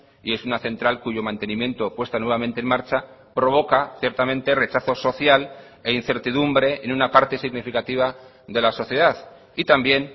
y es una central cuyo mantenimiento puesta nuevamente en marcha provoca ciertamente rechazo social e incertidumbre en una parte significativa de la sociedad y también